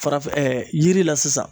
Farafɛn ɛɛ yiri la sisan